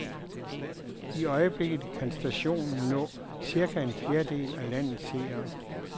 I øjeblikket kan stationen nå cirka en fjerdedel af landets seere.